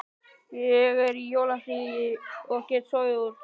Ég er í jólafríi og get sofið út.